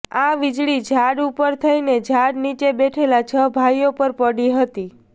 આ વીજળી ઝાડ ઉપર થઇને ઝાડ નીચે બેઠેલા છ ભાઇઓ પર પડી હતી